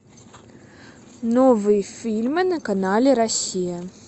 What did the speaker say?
новые фильмы на канале россия